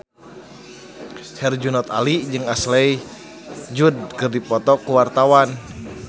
Herjunot Ali jeung Ashley Judd keur dipoto ku wartawan